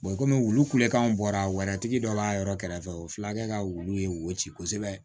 kɔmi olu kulekan bɔra wɛrɛtigi dɔ la yɔrɔ kɛrɛfɛ u filakɛ ka wulu ye wo ci kosɛbɛ